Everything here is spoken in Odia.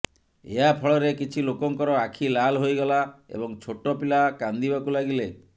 ଏହା ଫଳରେ କିଛି ଲୋକଙ୍କର ଆଖି ଲାଲ ହୋଇଗଲା ଏବଂ ଛୋଟ ପିଲା କାନ୍ଦିବାକୁ ଲାଗିଲେ